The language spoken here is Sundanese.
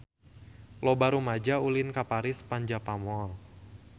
Loba rumaja ulin ka Paris van Java Mall